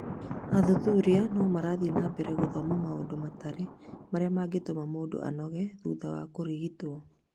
Athuthuria no marathiĩ na mbere gũthoma maũndũ matare marĩa mangĩtũma mũndũ anoge a thutha wa kũrigitwo.